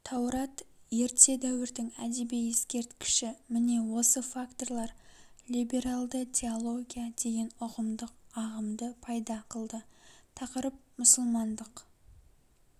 таурат ерте дәуірдің әдеби ескерткіші міне осы факторлар либералды теология деген үғымдық ағымды пайда қылды тақырып мұсылмандық